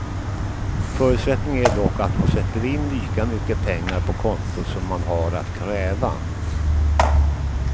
Förutsättningen är dock att man sätter in lika mycket pengar på kontot som man har att kräva.